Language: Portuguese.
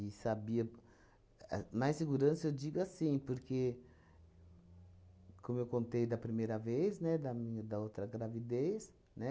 sabia a... Mais segurança, eu digo assim, porque, como eu contei da primeira vez, né, da minha da outra gravidez, né?